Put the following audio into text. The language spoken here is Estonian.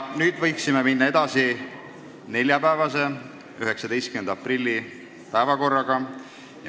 Nüüd võiksime edasi minna neljapäevase, 19. aprilli päevakorraga.